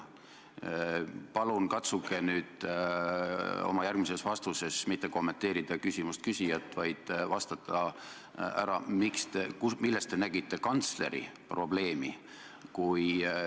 Palun katsuge oma järgmises vastuses mitte kommenteerida küsimuse küsijat, vaid vastata, milles te nägite kantsleri probleemi.